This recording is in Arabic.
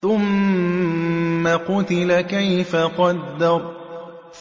ثُمَّ قُتِلَ كَيْفَ قَدَّرَ